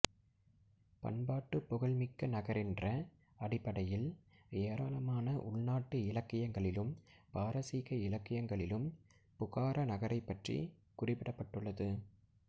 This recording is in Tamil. பண்பாட்டுப் புகழ் மிக்க நகரென்ற அடிப்படையில் ஏராளமான உள்நாட்டு இலக்கியங்களிலும் பாரசீக இலக்கியங்களிலும் புகாரா நகரைப் பற்றிக் குறிப்பிடப்பட்டுள்ளது